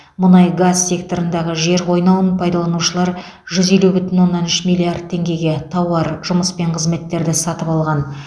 мұнай газ секторындағы жер қойнауын пайдаланушылар жүз елу бүтін оннан үш милллиард теңгеге тауар жұмыс пен қызметтерді сатып алған